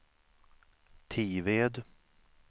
Tived